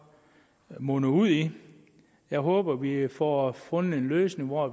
munder ud i jeg håber vi får fundet en løsning hvor